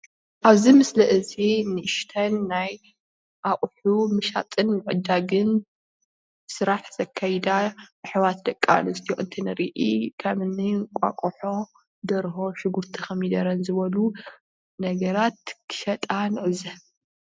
እብዚ ምስሊ እዚ ንእሽተን ናይ እቁሑ ምሻጥን ምዕዳግን ስራሕ ዘካይዳ አሕዋት ደቂ አነስትዮ እንትንርኢ ከምእኒ እንቋቁሖ ፣ደርሆ ፣ሽጉርቲ ፣ኮሚደረ ዝበሉ ነገራት ክሸጣ ንዕዘብ።